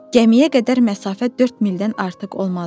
Gəmiyə qədər məsafə dörd mildən artıq olmazdı.